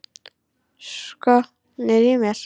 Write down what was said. Skotnir í mér?